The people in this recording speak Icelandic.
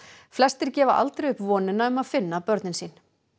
flestir gefa aldrei upp vonina um að finna börnin sín